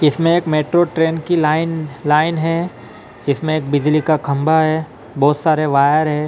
इसमें एक metro train की लाइन लाइन है इसमें एक बिजली का खंबा हैं बहुत सारे वायर हैं ।